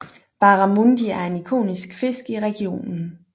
Barramundi er en ikonisk fisk i regionen